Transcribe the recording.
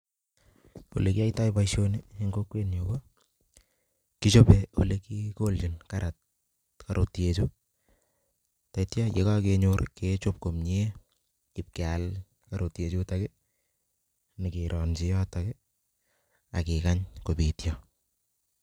Ole kiyaitoi boisioni eng kokwenyu ko kichobe ole kikoljin karrotyek chu taityo ya kakenyor kechob komie ipkeal karotie chutok ii nyikeronchi yotok ii ak kikany kobitio.